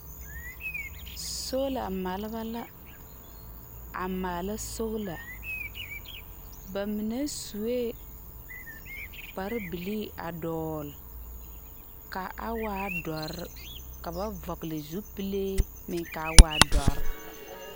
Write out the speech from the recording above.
Soola maleba la, a maala soola. Ba mine sue, kparebilii a dɔgle, ka a waa dɔre, ka ba vɔgle zupilee, meŋ kaa waa dɔre